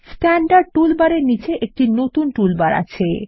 standard toolbar এর নীচে একটি নতুন টুলবার আছে